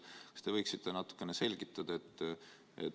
Kas te võiksite seda natuke selgitada?